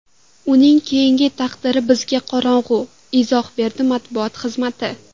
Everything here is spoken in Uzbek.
Uning keyingi taqdiri bizga qorong‘u”, izoh berdi matbuot xizmati.